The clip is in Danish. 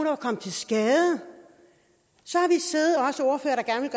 var kommet til skade så